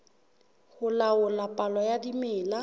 ho laola palo ya dimela